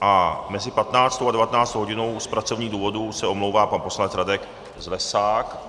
A mezi 15. a 19. hodinou z pracovních důvodů se omlouvá pan poslanec Radek Zlesák.